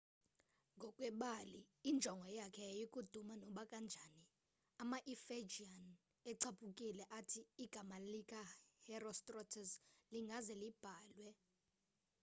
ngokwebali injongo yakhe yayikuduma nobakanjani ama-efijian ecaphukile athi igama lika herostratus lingaze libhalwe